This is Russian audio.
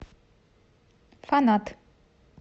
фанат